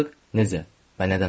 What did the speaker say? nədən ola bilər?